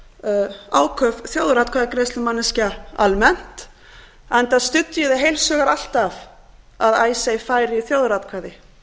ég áköf þjóðaratkvæðagreiðslumanneskja almennt enda studdi ég það heils hugar alltaf að icesave færi í þjóðaratkvæði